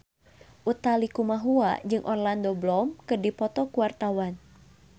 Utha Likumahua jeung Orlando Bloom keur dipoto ku wartawan